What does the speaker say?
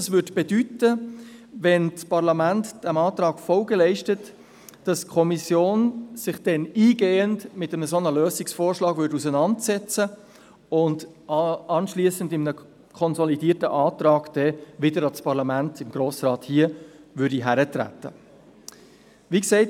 Dies würde bedeuten, sollte das Parlament diesem Antrag Folge leisten, dass die Kommission sich dann eingehend mit solch einem Lösungsvorschlag auseinandersetzen und anschliessend mit einem konsolidierten Antrag wieder ans Parlament, an den Grossen Rat hier, herantreten würde.